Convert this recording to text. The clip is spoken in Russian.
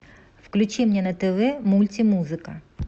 включи мне на тв мультимузыка